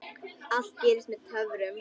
Allt gerist með töfrum.